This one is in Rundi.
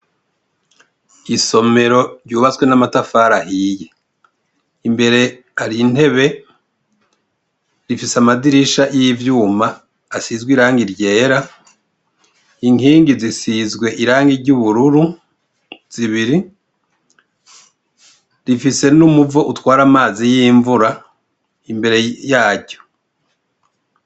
Isomero ryubatswe n'amatafari ahiye, imbere hari intebe ,rifise amadirisha y'ivyuma, asizwe irangi ryera ,inkingi zisizwe irangi ry'ubururu ,zibiri rifise numuvo utwara amazi y'imvura imbere yaryo.